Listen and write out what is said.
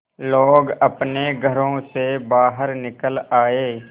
लोग अपने घरों से बाहर निकल आए